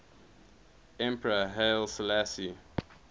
emperor haile selassie